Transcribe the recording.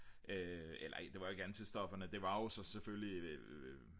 eller det var jo ikke antistofferne det var jo så selvfølgelig